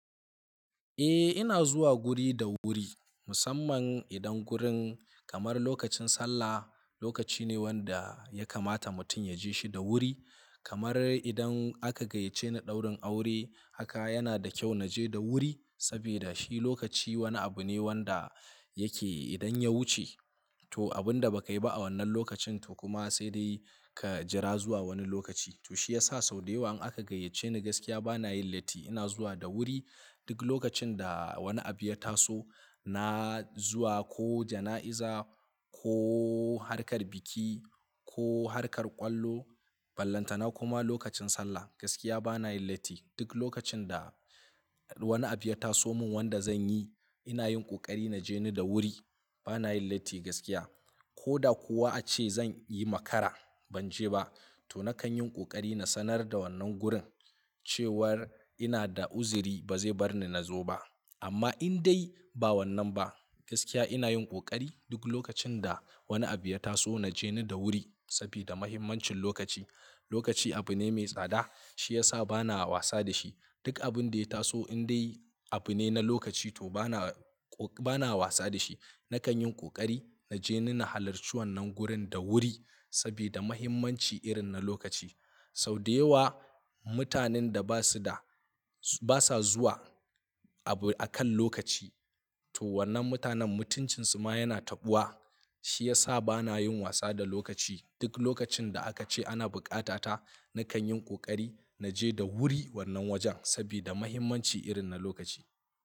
Eh ina zuwa guri da wuri musamman idan gurin kamar lokacin sallah, lokaci ne wanda ya kamata mutum ya je shi da wuri. Kamar idan aka gayyace ni ɗaurin aure haka yana da kyau na je da wuri saboda shi lokaci wani abu ne wanda yake idan ya wuce to abin da ba ka yi ba a wannan lokacin to kuma sai dai ka jira zuwa wani lokaci. To shi ya sa sau da yawa in aka gayyace ni gaskiya bana yin latti ina zuwa da wuri. Duk lokacin da wani abu ya taso na zuwa ko jana'iza ko harkar biki ko harkar ƙwallo, ballanta na kuma lokacin sallah gaskiya bana yin latti. Duk lokacin da wani abu ya taso min wanda zan yi ina yin ƙoƙari na je ni da wuri bana yin latti gaskiya. Ko da kuwa ace zan yi makara ban je ba to nakan yin ƙoƙari na sanar da wannan gurin cewar ina da uzuri ba zai bar ni na zo ba. Amma in dai ba wannan ba gaskiya ina yin ƙoƙari duk lokacin da wani abu ya taso na je ni da wuri sabida muhimmancin lokaci. Lokaci abu ne mai tsada shi ya sa bana wasa da shi. Duk abin da ya taso in dai abu ne na lokaci to bana, bana wasa da shi. Nakan yin ƙoƙari na je nina halarci wannan gurin da wuri sabida muhimmanci irin na lokaci. Sau da yawa mutanen da ba su da, ba sa zuwa abu akan lokaci to wannan mutanen mutuncinsu ma yana taɓuwa. Shi ya sa bana yin wasa da lokaci. Duk lokacin da aka ce ana buƙata ta nakan yin ƙoƙari na je da wuri wannan wajen sabida muhimmanci irin na lokaci.